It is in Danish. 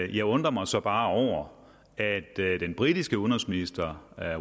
jeg undrer mig så bare over at den britiske udenrigsminister